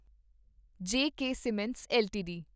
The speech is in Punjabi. ਜ ਕੇ ਸੀਮੈਂਟਸ ਐੱਲਟੀਡੀ